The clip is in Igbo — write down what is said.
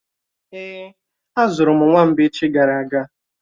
Èé, azụrụ m nwamba echi gara aga